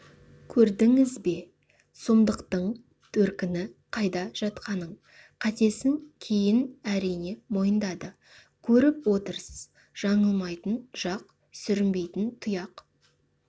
көрдіңіз бе сұмдықтың төркіні қайда жатқанын қатесін кейін әрине мойындады көріп отырсыз жаңылмайтын жақ сүрінбейтін тұяқ